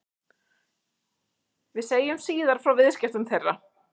Við segjum síðar frá viðskiptum þeirra.